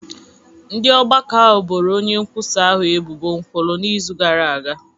Ndị ọgbakọ ahụ boro onye nkwusa ahụ ebubo nkwulu n’izu gara aga